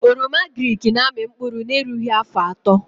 Oroma agrịk na amị mkpụrụ na erughị afọ atọ